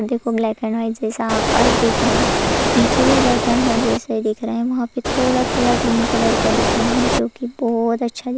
देखो black and white जैसा आकाश दिख रा है नीचे भी ब्लैक एंड वाइट जैसे ही दिख रा है वहाँ पे थोड़ा-थोड़ा ग्रीन कलर का दिख रहे हैं जो कि बहोत अच्छा दिख --